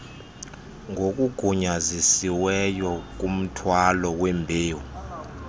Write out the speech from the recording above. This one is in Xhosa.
ngokugunyazisiweyo kumthwalo wembewu